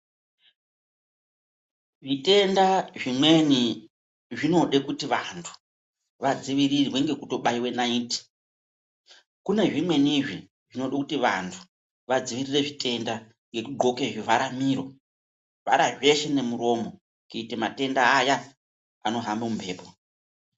Zvitenda zvimweni zvinoda kuti vantu vadzivirirwe nekubaiwa naiti kune zvimwenizve dzinoda kuti vantu vadzivirire zvitenda yekugonka zvivhare miro zveshe nemuromo kuita matenda aya ano hamba mumhepo.